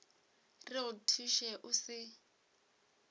re go thuše o se